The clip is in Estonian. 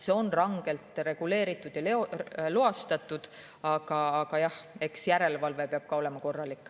See on rangelt reguleeritud ja loastatud, aga jah, eks järelevalve peab ka olema korralik.